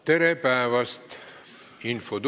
Tere päevast!